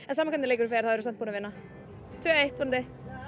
sama hvernig leikurinn fer þá erum við búin að vinna tvö eitt vonandi